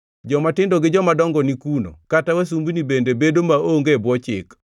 Jomatindo gi jomadongo ni kuno kata wasumbini bende bedo maonge e bwo chik.